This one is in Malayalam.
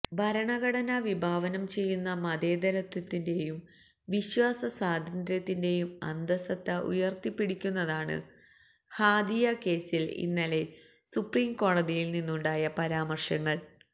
ഭരണഘടന വിഭാവനം ചെയ്യുന്ന മതേതരത്വത്തിന്റെയും വിശ്വാസ സ്വാതന്ത്ര്യത്തിന്റെയും അന്തസ്സത്ത ഉയര്ത്തിപ്പിടിക്കുന്നതാണ് ഹാദിയ കേസില് ഇന്നലെ സുപ്രീം കോടതിയില് നിന്നുണ്ടായ പരാമര്ശങ്ങള്